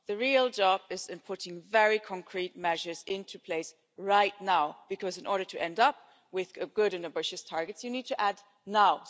The real job is in putting very concrete measures into place right now because in order to end up with good and ambitious targets you need to add now'.